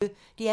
DR P1